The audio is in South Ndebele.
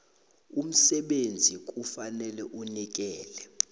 umsebenzi kufanele anikele